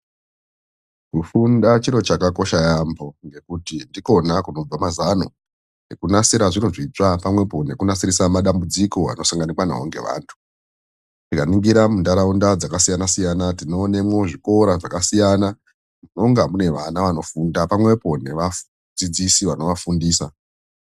Kufunda chiro chakakosha yaamho ngekuti ndikwona kunobva mazano ekunasira zviro zvitsva pamwepo nekunasirisa matambudziko anosanganikwa nawo neantu. Tikaningira munharaunda dzakasiyana siyana tinoonemwo zvikora zvakasiya zvinonga mune vana vanofundamwo pamwepo nevadzidzisi vanovafundisa.